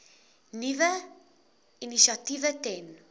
nuwe initiatiewe ten